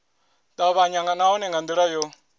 tavhanya nahone nga ndila yo